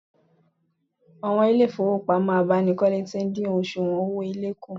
Àwọn ilé ìfowópamọ́ abánikọ́lé ti dín òsùwọ̀n owó èlé kù